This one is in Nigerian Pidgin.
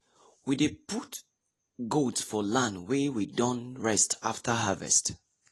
we dey put goat for land wey we don rest after harvest